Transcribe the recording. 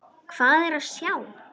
Hvað er að sjá